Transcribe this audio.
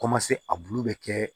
a bulu bɛ kɛ